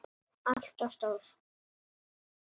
ALLT OF STÓR!